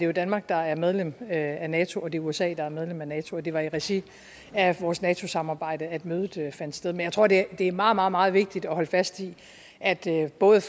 er danmark der er medlem af nato og det er usa der er medlem af nato og det var i regi af vores nato samarbejde at mødet fandt sted men jeg tror det er meget meget meget vigtigt at holde fast i at det både